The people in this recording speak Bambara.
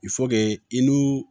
i n'u